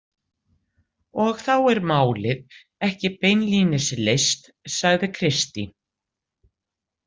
Og þá er málið ekki beinlínis leyst, sagði Kristín.